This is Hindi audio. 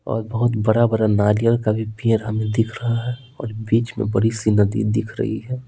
और बहुत बड़ा-बड़ा नारियल का भी पेड़ हमें दिख रहा है और बीच में बड़ी सी नदी दिख रही है।